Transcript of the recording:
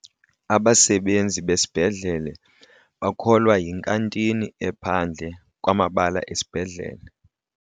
Abasebenzi basesibhedlele bakholwa yinkantini ephandle kwamabala esibhedlele.